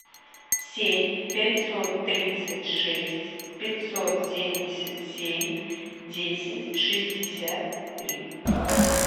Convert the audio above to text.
семь пятьсот тридцать шесть пятьсот семьдесят семь десять шестьдесят три